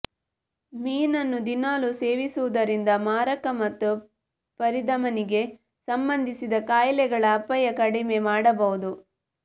ಮೀನನ್ನು ದಿನಾಲೂ ಸೇವಿಸುವುದರಿಂದ ಮಾರಕ ಮತ್ತು ಪರಿಧಮನಿಗೆ ಸಂಬಂಧಿಸಿದ ಕಾಯಿಲೆಗಳ ಅಪಾಯ ಕಡಿಮೆ ಮಾಡಬಹುದು